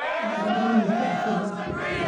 Ma garanaysaa isaga?